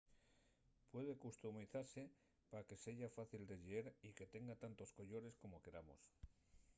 puede customizase pa que seya fácil de lleer y que tenga tantos collores como queramos